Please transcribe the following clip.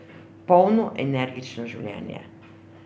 Polno, energično življenje.